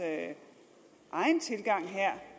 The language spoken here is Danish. egen tilgang